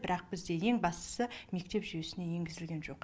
бірақ бізде ең бастысы мектеп жүйесіне енгізілген жоқ